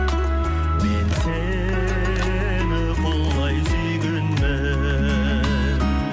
мен сені құлай сүйгенмін